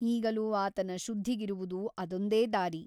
ಈಗಲೂ ಆತನ ಶುದ್ಧಿಗಿರುವುದು ಅದೊಂದೇ ದಾರಿ.